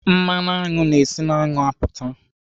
Mmanụ aṅụ na-esi n'aṅụ apụta.